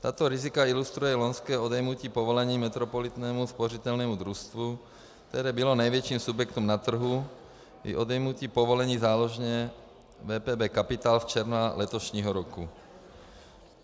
Tato rizika ilustruje loňské odejmutí povolení Metropolitnímu spořitelnímu družstvu, které bylo největším subjektem na trhu, i odejmutí povolení záložně WPB Capital z června letošního roku.